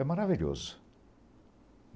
É maravilhoso.